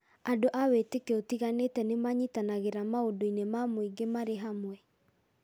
Andũ a wĩĩtĩkio ũtiganĩte nĩ manyitanagĩra maũndũ-inĩ ma mũingĩ marĩ hamwe.